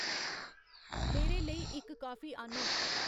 मेरे लेई इक कॉफी आह्न्नो